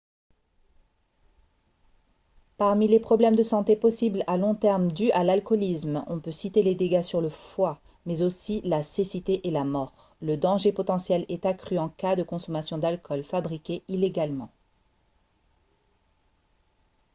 parmi les problèmes de santé possibles à long terme dus à l'alcoolisme on peut citer les dégâts sur le foie mais aussi la cécité et la mort le danger potentiel est accru en cas de consommation d'alcool fabriqué illégalement